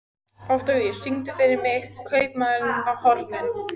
Oktavíus, syngdu fyrir mig „Kaupmaðurinn á horninu“.